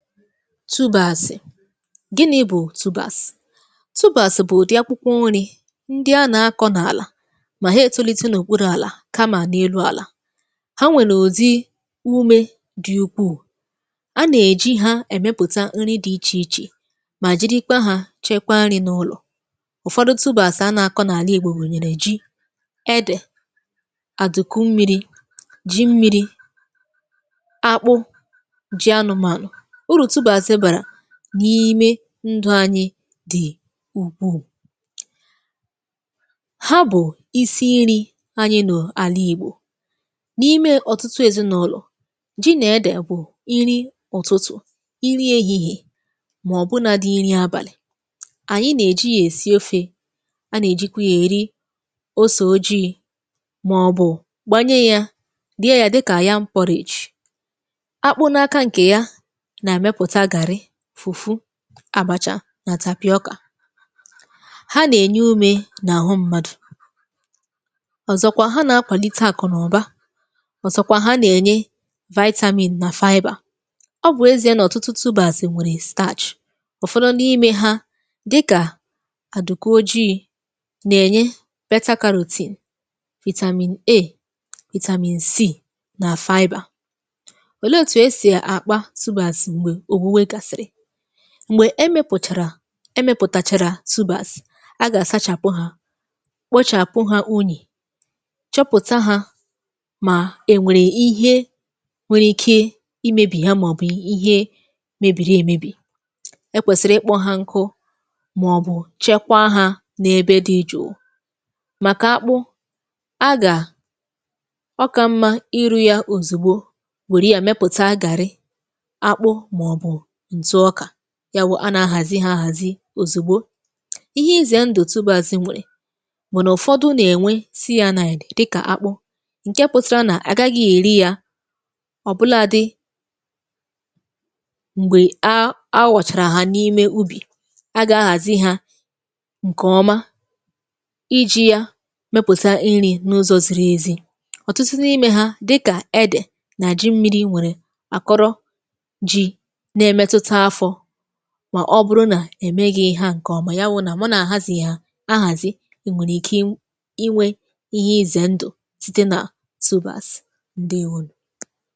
Tubas, gịnị bụ̀ tubas? Tubas bụ̀ ụdị akwụkwọ nri ndị ana-akọ̇ n’àlà mà ha etulite n’ụ̀kpụrụ̇ àlà kamà n’elu àlà. Ha nwèrè udi umė dị̀ ukwuù, a nà-èji ha èmepùta nri dị̇ ichè ichè mà jirikwa ha chekwaa nri̇ n’ụlọ̀. Ụfọdụ tubas a nà-akọ̇ n’àla ìgbo gunyèrè ji, edè, àdùku mmiri̇, ji mmiri̇, akpụ, ji anụmànụ. Uru tubas bara n’ime ndụ̇ anyị dị̀ ùkwuu. Ha bụ̀ isi nri̇ anyị nọ̀ àla ìgbò, n’ime ọ̀tụtụ èzinụ̇lọ̀, ji nà-ede bụ̀ iri ụtụtụ̀, iri ehihie, màọbụ̇ nàdị iri abàlị̀. Anyị nà-ejì yà èsi ofė, a nà-èjikwa yȧ èri ose ojii̇, màọbụ̀ gbànye yȧ, rie ya dịka. Akpu na aka nke ya, na emepụta gàrrị, fufu, àbàcha nà. Ha nà-ènye umė nà àhụ mmadụ̇, ọ̀zọ̀kwa ha nà-akwàlite àkụ̀nàụ̀ba, ọ̀zọ̀kwa ha nà-ènye nà. Ọ bụ̀ ezi̇a nà ọ̀tụtụ tubas nwèrè, ụ̀fọdụ n’ime ha dịkà àduku ojìi nà-ènye, nà. Ole etu esi akpa tubas mgbe òwụwẹ gasịrị? Mgbè e mepụ̀tàrà e mepụ̀tàchàrà tubas, a gà-àsachàpụ hȧ, kpochàpụ hȧ unyì, chọpụ̀ta hȧ mà è nwèrè ihe nwere ike imėbì ya, màọ̀bụ̀ ihe mebìrì èmebì, ekwèsìrì ikpọ̇ ha nkụ, màọ̀bụ̀ chekwa hȧ n’ebe dị jụ̀ụ. Màkà akpụ, a gà, ọka mmȧ ịrụ̇ yȧ òzùgbo wèrè ya mepụ̀ta gàrrị, àkpụ, maọbu ntụ ọka, ya wụ̀ a na-ahàzi ha àhàzi òzùgbo. Ihe izè ndụ̀ tubas nwèrè bụ na ụ̀fọdụ nà-ènwe dịkà akpụ ǹke pụtara nà àgagị̇ èri ya ọ̀bụladị m̀gbè a awọ̀chàrà ha n’ime ubì, agȧ-ahàzi ha ǹkèọma iji̇ ya mepùta iri̇ n’ụzọ̇ ziri ezi. Ọ̀tụtụ n’imė ha dịkà edè na ji mmiri̇ nwèrè akọrọ ji, na emetụta afọ, ma ọ bụrụ nà èmeghị̇ ha ǹkè ọmà, ya wụnà mu nà-àhazi ya ahàzi, è nwèrè ike inwė ihe ize ndụ̀ site nà tubas, ǹdewonu.